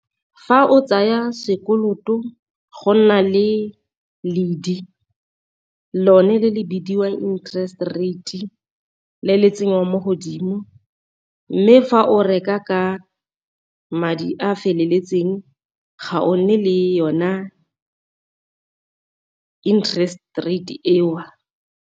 Fa o tsaya sekoloto go nna le ledi lone le le bidiwang interest rate le le tsenyang mo godimo, mme fa o reka ka madi a a feleletseng ga o nne le yona interest rate eo.